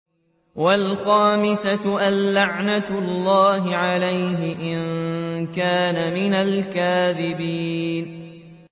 وَالْخَامِسَةُ أَنَّ لَعْنَتَ اللَّهِ عَلَيْهِ إِن كَانَ مِنَ الْكَاذِبِينَ